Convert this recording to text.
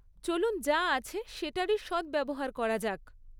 চলুন যা আছে সেটারই সদ্ব্যবহার করা যাক।